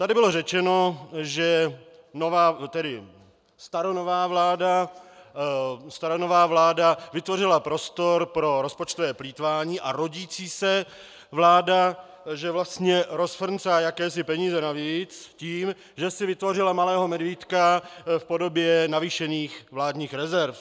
Tady bylo řečeno, že staronová vláda vytvořila prostor pro rozpočtové plýtvání a rodící se vláda že vlastně rozfrncá jakési peníze navíc tím, že si vytvořila malého medvídka v podobě navýšených vládních rezerv.